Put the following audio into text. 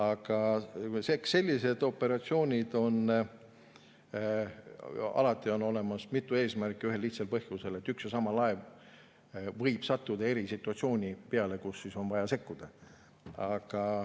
Aga sellistel operatsioonidel on alati mitu eesmärki, ühel lihtsal põhjusel: üks ja sama laev võib sattuda eri situatsioonisse, kus on vaja sekkuda.